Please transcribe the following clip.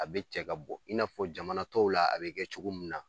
A bɛ cɛ ka bɔ i n'a fɔ jamana tɔw la a bɛ kɛ cogo min na .